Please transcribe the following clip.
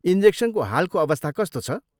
इन्जेक्सनको हालको अवस्था कस्तो छ?